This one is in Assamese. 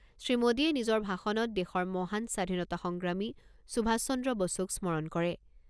শ্ৰীমোদীয়ে নিজৰ ভাষণত দেশৰ মহান স্বাধীনতা সংগ্ৰামী সুভাষ চন্দ্ৰ বসুক স্মৰণ কৰে।